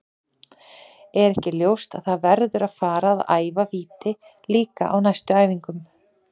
Er ekki ljóst að það verður að fara að æfa víti líka á næstu æfingum?